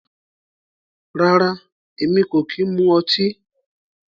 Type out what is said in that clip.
Rárá, Èmi kò kí ń mu ọtí